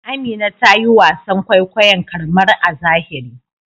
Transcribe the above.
Amina ta yi wasan kwaikwayon karmar a zahiri.